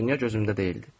Dünya gözümdə deyildi.